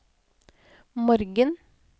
morgen